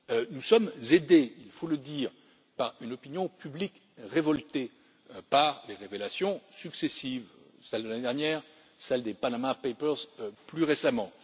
Nous sommes aidés, il faut le dire, par une opinion publique révoltée par les révélations successives celles de l'année dernière, celles des Panama Papers plus récemment.